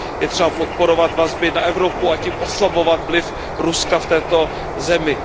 Je třeba podporovat vazby na Evropu a tím oslabovat vliv Ruska v této zemi.